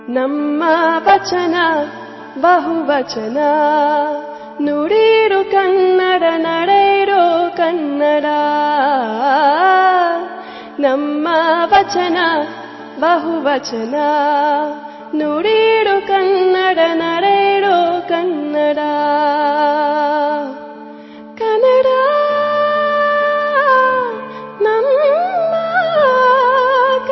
MKB EP 105 audio byte 2